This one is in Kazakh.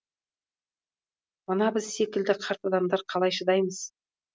мына біз секілді қарт адамдар қалай шыдаймыз